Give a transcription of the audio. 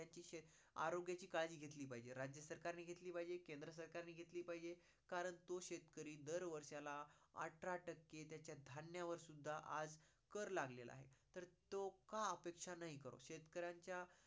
आरोग्याची काळजी घेतली पाहिजे. राज्य सरकार ने घेतली पाहिजे, केंद्र सरकार ने घेतली पाहिजे कारण तो शेतकरी दर वर्षाला अठरा टक्के त्याच्या धान्यावर सुद्धा आज कर लागलेला आहे. तर तो का नाही करो. शेतकरांच्या